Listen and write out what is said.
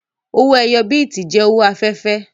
Owó ẹyọ bíìtì jẹ́ owó afẹ́fẹ́